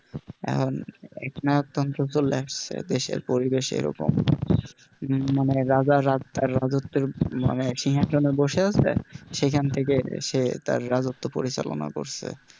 এখন এক নায়ক তন্ত্র চলে এসেছে দেশের পরিবেশ এরকম মানে রাজার রাজত্বে, মানে সিংহাসনে বসে আছে সেখান সেখান থেকে সে তার রাজত্ব পরিচালনা করছে,